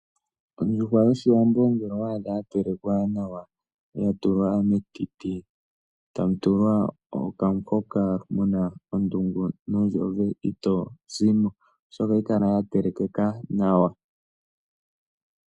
Ondjuhwa yoshiwambo ngele owaadha ya telekwa nawa ya tulwa metiti tamu tulwa okamuhoka muna ondungu nondjove ito zimo oshoka ohayi kala ya telekeka nawa.